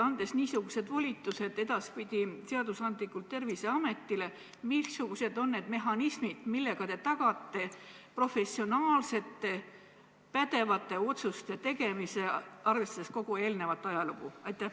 Andes niisugused volitused edaspidi seaduslikult Terviseametile, siis missugused on need mehhanismid, millega te tagate professionaalsete, pädevate otsuste tegemise, arvestades kogu eelnevat ajalugu?